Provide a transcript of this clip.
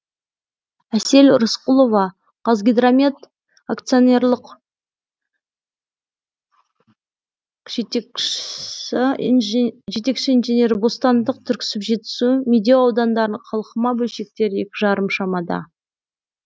әсел рысқұлова қазгидромет акционерлік жетекші инженері бостандық түрксіб жетісу медеу аудандарында қалқыма бөлшектері екі жарым шамада